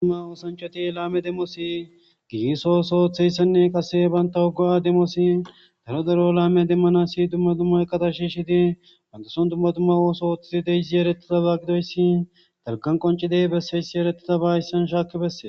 Dudumma woosanchoti laame demosi giiso oso hoththeyssenne qase banta hogo7a demosi daro daro laame demmanasi dumma dumma qata shi shidi wantason dumma dumma wooso oththei deysi yeretita ba gidoyssi talkan qoncidey besseyssi eretita baayissan shaakki besse